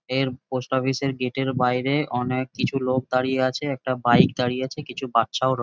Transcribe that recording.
এর post office -এর gate -এর বাইরে অনেক কিছু লোক দাঁড়িয়ে আছে একটা বাইক দাঁড়িয়ে আছে কিছু বাচ্চাও র--